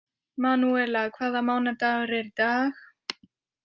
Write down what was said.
Manúella, hvaða mánaðardagur er í dag?